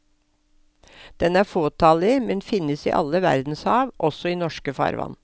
Den er fåtallig, men finnes i alle verdenshav, også i norske farvann.